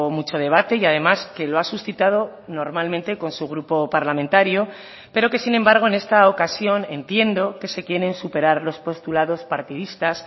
mucho debate y además que lo ha suscitado normalmente con su grupo parlamentario pero que sin embargo en esta ocasión entiendo que se quieren superar los postulados partidistas